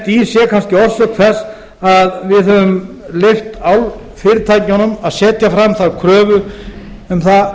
í sé kannski orsök þess að við höfum leyft álfyrirtækjunum að setja fram þá kröfu um